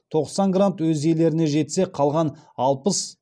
тоқсан грант өз иелеріне жетсе қалған алпыс